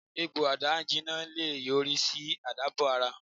Egbo ada-ijina le yori si alabo-ara